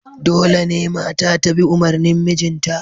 Dole ne mata ta bi umarnin mijinta